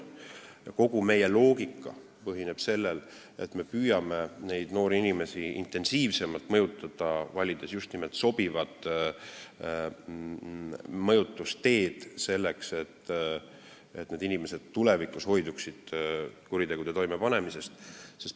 Meie loogika põhineb sellel, et me püüame neid noori inimesi intensiivsemalt mõjutada, valides just sobivad mõjutusteed, selleks et need inimesed tulevikus hoiduksid kuritegude toimepanemisest.